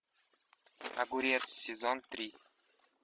огурец сезон три